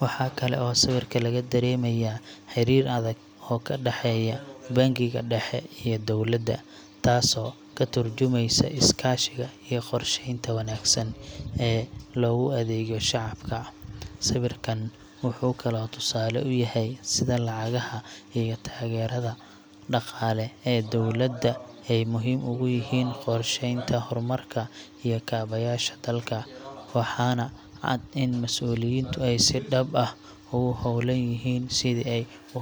Waxaa kale oo sawirka laga dareemayaa xiriir adag oo ka dhexeeya bangiga dhexe iyo dowladda, taasoo ka tarjumeysa iskaashiga iyo qorsheynta wanaagsan ee loogu adeegayo shacabka. Sawirkan wuxuu kaloo tusaale u yahay sida lacagaha iyo taageerada dhaqaale ee dowladda ay muhiim ugu yihiin qorsheynta horumarka iyo kaabayaasha dalka, waxaana cad in mas'uuliyiintu ay si dhab ah ugu hawlan yihiin sidii ay u hormarin lahaayeen Kenya.